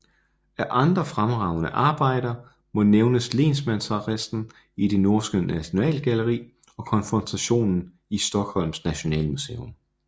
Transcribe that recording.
Af andre fremragende arbejder må nævnes Lensmandsarresten i det norske Nationalgalleri og Konfrontationen i Stockholms Nationalmuseum